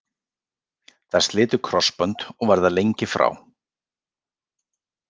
Þær slitu krossbönd og verða lengi frá.